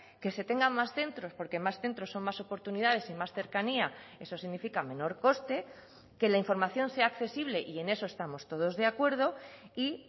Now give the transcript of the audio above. que se tengan más centros porque más centros son más oportunidades y más cercanía eso significa menor coste que la información sea accesible y en eso estamos todos de acuerdo y